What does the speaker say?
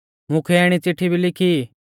मुख्यै इणी चिट्ठी भी लिखी